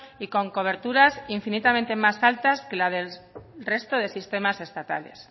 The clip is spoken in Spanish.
y con coberturas infinitamente más altas que la del resto del sistemas estatales